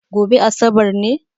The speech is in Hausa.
Gobe asabar ne?